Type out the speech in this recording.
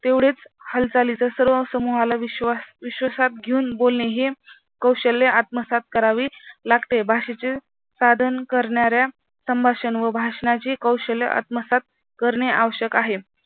तेवढेच हालचाली तर सर्व समूहाला विश्वास विश्वासात घेऊन बोलणे हे कौशल्य आत्मसात करावे लागते. बाहेरचे साधन करणाऱ्या संभाषण व भाषणाची कौशल्य आत्मसात करणे आवश्यक आहे.